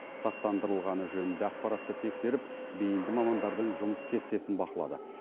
сақтандырылғаны жөнінде ақпаратты тексеріп бейінді мамандардың жұмыс кестесін бақылады